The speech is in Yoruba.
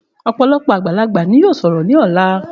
Òpòlopò àgbàlagbà ni yóò sòrò ní òla